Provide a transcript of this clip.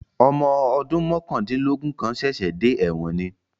Ọmọ ọdún mọ̀kàndínlógún kan ṣẹ̀ṣẹ̀ dé ẹ̀wọ̀n ni